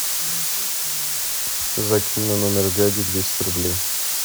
закинь на номер дяди двести рублей